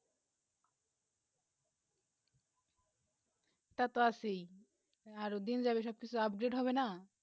তা তো আছে ই আরও দিন যাবে সব কিছু update হবে না